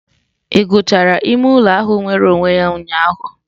Ị gụchara ime ụlọ ahụ nwere onwe ya ụnyaahụ?